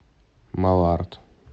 малард